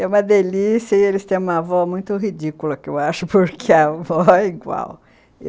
É uma delícia e eles têm uma avó muito ridícula, que eu acho, porque a avó é igual.